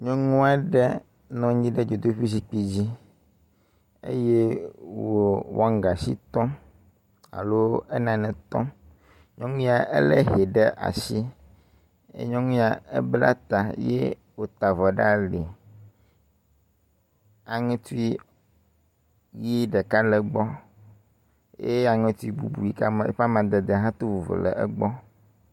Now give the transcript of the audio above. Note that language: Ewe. Nyɔnu aɖe nɔ anyi ɖe dzodoƒe zikpui dzi eye wo wɔngasi tɔm alo enane tɔm. Nyɔnu ya elé hɛ ɖe asi ye nyɔnu ya ebla ta ye wota avɔ ɖe ali. Aŋetui ʋi ɖeka le egbɔ ye aŋetui bubu yike eƒe amadede hã to vovo le egbɔ.